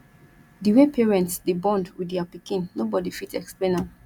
di way parents dey bond with their pikin no body fit explain am